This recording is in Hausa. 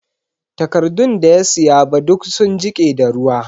Takardun da ya siya ba duk sun jike da ruwa